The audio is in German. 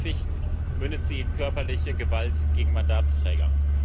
Viel zu häufig mündet sie in körperliche Gewalt gegen Mandatsträger.